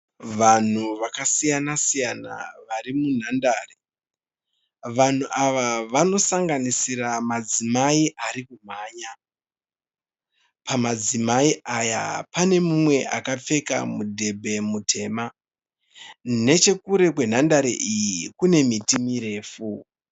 Vanhu vakasiyana siyana vari munhandare. Vanhu ava vanosanganisira madzimai ari kumhanya. Pamadzimai aya pane mumwe akapfeka mudhebhe mutema. Nechekure kwenhandare iyi kune miti mirefu.